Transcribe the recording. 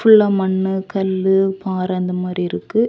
ஃபுல்லா மண்ணு கல்லு பாறை அந்த மாரி இருக்கு.